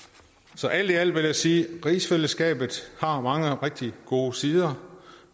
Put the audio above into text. så alt i alt vil jeg sige at rigsfællesskabet har mange rigtig gode sider